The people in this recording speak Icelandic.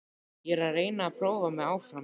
Ég er að reyna að prófa mig áfram.